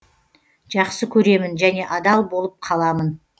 жақсы көремін және адал болып қаламын